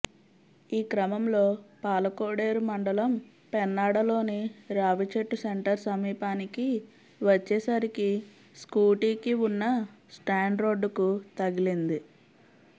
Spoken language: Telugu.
ఈ క్రమంలో పాలకోడేరు మండలం పెన్నాడలోని రావిచెట్టు సెంటర్ సమీపానికి వచ్చే సరికి స్కూటీకి వున్న స్టాండ్ రోడ్డుకు తగిలింది